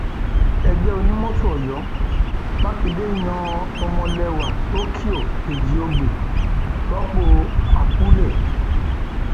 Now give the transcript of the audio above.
ẹgbẹ onímọtò ọyọ mákindé yan ọmọlẹwà tokyo ẹjíògbè rọpò apuley